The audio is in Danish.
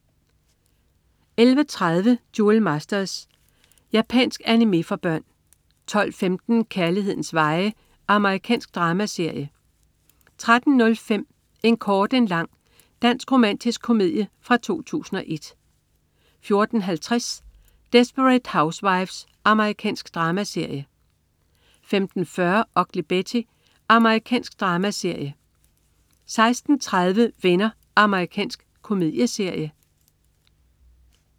11.30 Duel Masters. Japansk animé for børn 12.15 Kærlighedens veje. Amerikansk dramaserie 13.05 En kort en lang. Dansk romantisk komedie fra 2001 14.50 Desperate Housewives. Amerikansk dramaserie 15.40 Ugly Betty. Amerikansk dramaserie 16.30 Venner. Amerikansk komedieserie